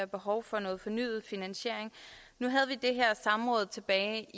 behov for noget fornyet finansiering nu havde vi det her samråd tilbage